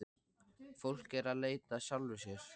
Fólk er að leita að sjálfu sér.